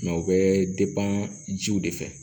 u bɛ jiw de fɛ